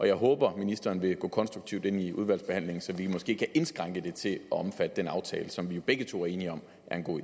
jeg håber at ministeren vil gå konstruktivt ind i udvalgsbehandlingen så vi måske kan indskrænke det til at omfatte den aftale som vi begge to er enige om